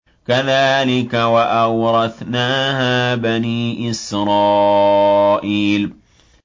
كَذَٰلِكَ وَأَوْرَثْنَاهَا بَنِي إِسْرَائِيلَ